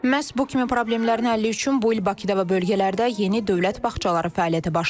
Məhz bu kimi problemlərin həlli üçün bu il Bakıda və bölgələrdə yeni dövlət bağçaları fəaliyyətə başlayacaq.